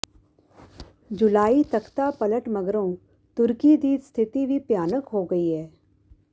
ਜੁਲਾਈ ਤਖ਼ਤਾ ਪਲਟ ਮਗਰੋਂ ਤੁਰਕੀ ਦੀ ਸਥਿਤੀ ਵੀ ਭਿਆਨਕ ਹੋ ਗਈ ਹੈ